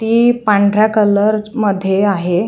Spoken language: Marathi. ती पांढऱ्या कलर मध्ये आहे.